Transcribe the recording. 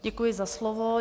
Děkuji za slovo.